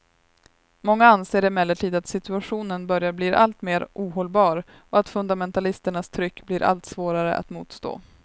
Många anser emellertid att situationen börjar bli alltmer ohållbar och att fundamentalisternas tryck blir allt svårare att motstå.